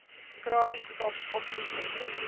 crime stop oproepsentrums